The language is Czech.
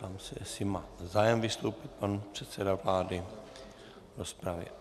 Ptám se, jestli má zájem vystoupit pan předseda vlády v rozpravě.